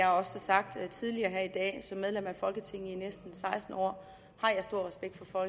har sagt tidligere her i dag som medlem af folketinget i næsten seksten år har jeg stor respekt for